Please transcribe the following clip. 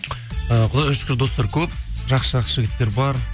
ііі құдайға шүкір достар көп жақсы жақсы жігіттер бар